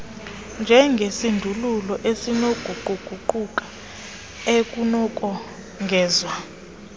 njengesindululo esinokuguquguquka ekunokongezwa